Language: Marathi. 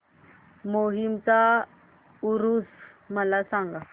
माहीमचा ऊरुस मला सांग